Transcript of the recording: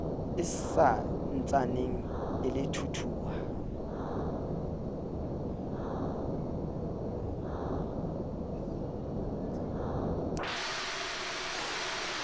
e sa ntsaneng e thuthuha